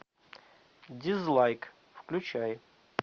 дизлайк включай